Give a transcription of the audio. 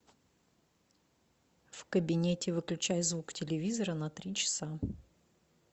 в кабинете выключай звук телевизора на три часа